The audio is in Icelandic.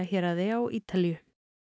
héraði á Ítalíu